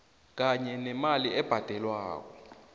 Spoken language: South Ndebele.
kanye nemali ebhadelwako